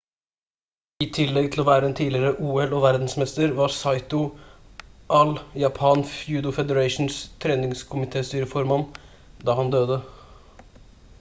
i tillegg til å være en tidligere ol-og verdensmester var saito all japan judo federations treningskomitestyreformann da han døde